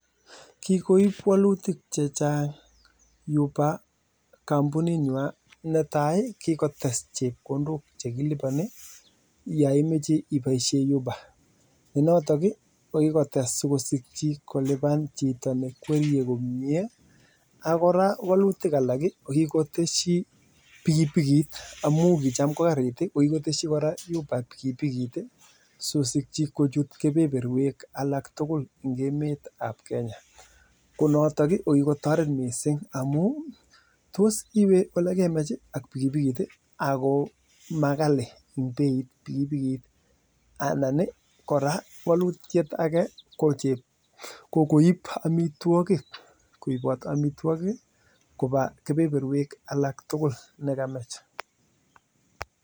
Netai kikotes chepkondok chekilibanii yaimechee ibaishe Uber kikotes sikosikji kulipan chito ne gwerie komie ak kora kikoteshii pikipikit amuu kicham kokarit kityok sikosikchi kochut kebeneruek tugul eng kemet ab Kenya ako maghali pikipikit